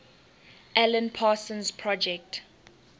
alan parsons project